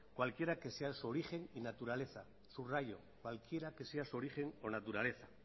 cualquiera que sea su origen y naturaleza subrayo cualquiera que sea su origen o naturaleza